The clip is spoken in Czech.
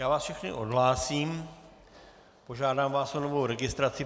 Já vás všechny odhlásím, požádám vás o novou registraci.